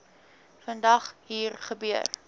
vandag hier gebeur